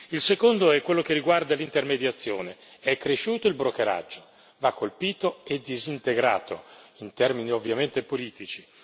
Il secondo è quello che riguarda l'intermediazione è cresciuto il brokeraggio, va colpito e disintegrato, in termini ovviamente politici.